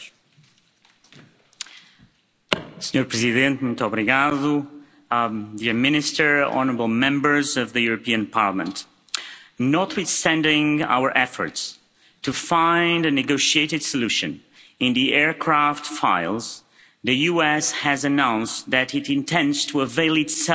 Mr President, Minister, honourable Members of the European Parliament, notwithstanding our efforts to find a negotiated solution in the aircraft files, the US has announced that it intends to avail itself of the full the rights awarded